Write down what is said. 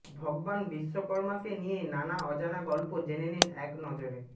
ভগবান বিশ্বকর্মাকে নিয়ে নানা অজানা গল্প জেনে নিন একনজরে